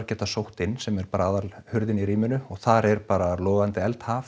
geta sótt inn sem er bara aðalhurðin í rýminu og þar er bara logandi